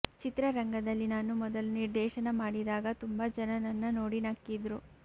ಚಿತ್ರರಂಗದಲ್ಲಿ ನಾನು ಮೊದಲು ನಿರ್ದೇಶನ ಮಾಡಿದಾಗ ತುಂಬಾ ಜನ ನನ್ನ ನೋಡಿ ನಕ್ಕಿದ್ರು